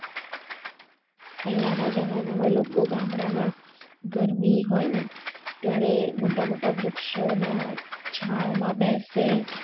પહેલાના જમાના માં લોકો ગામડા માં ગરમી હોઈ ને ત્યારે મોટા મોટા વૃક્ષો ના છાવ માં બેસે